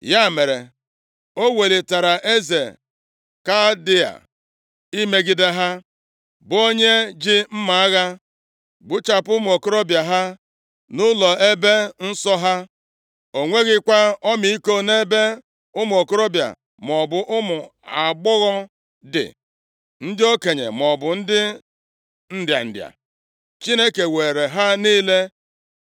Ya mere, o welitara eze Kaldịa imegide ha, bụ onye ji mma agha gbuchapụ ụmụ okorobịa ha nʼụlọ ebe nsọ ha. O nweghịkwa ọmịiko nʼebe ụmụ okorobịa, maọbụ ụmụ agbọghọ dị, ndị okenye maọbụ ndị nrịa nrịa. Chineke weere ha niile